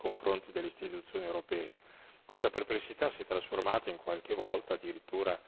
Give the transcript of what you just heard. Questo ha aumentato molto la perplessità di queste persone nei confronti delle istituzioni europee